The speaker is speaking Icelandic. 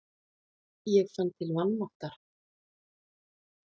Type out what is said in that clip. Ég fann til vanmáttar.